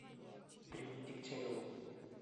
дрюней дегтяревым